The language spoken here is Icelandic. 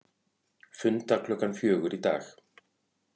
Funda klukkan fjögur í dag